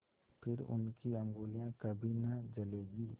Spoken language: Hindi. फिर उनकी उँगलियाँ कभी न जलेंगी